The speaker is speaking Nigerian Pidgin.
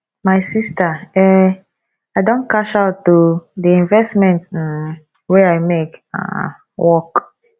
my sister um i don cash out o the investment um wey i make um work